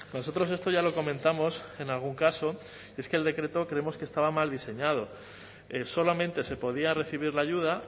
nosotros esto ya lo comentamos en algún caso es que el decreto creemos que estaba mal diseñado solamente se podía recibir la ayuda